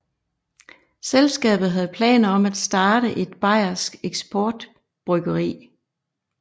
Selskabet havde planer om at starte et bajersk eksportbryggeri